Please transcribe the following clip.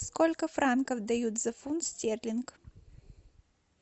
сколько франков дают за фунт стерлинг